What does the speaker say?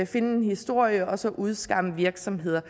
finde en historie og så udskamme virksomheder